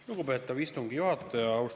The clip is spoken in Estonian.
Lugupeetav istungi juhataja!